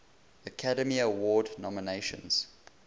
academy award nominations